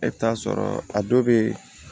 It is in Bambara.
E bɛ taa sɔrɔ a dɔw bɛ yen